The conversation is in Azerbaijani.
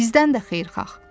Bizdən də xeyirxah.